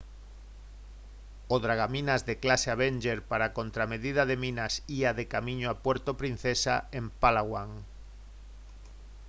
o dragaminas de clase avenger para a contramedida de minas ía de camiño a puerto princesa en palawan